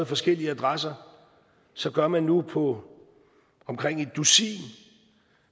forskellige adresser så gør man det nu på omkring et dusin